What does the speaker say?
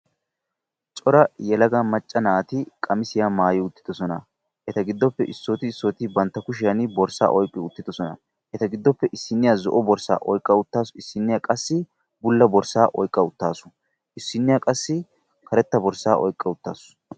Cora yelaga macca naati qamissiya maayi uttidoosona,; eta giddoppe issooti issooti banttaa kushiyaan borssaa oyqqi uttidoosona, etappe issiniya zo'o borssaa oyqqa uttaasu; issiniya qassi bulla borssaa oyqqaa uttaasu; issiniya qassi karetta borssaa oyqqaa uttaasu.